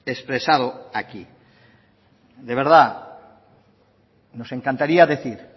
he expresado aquí de verdad nos encantaría decir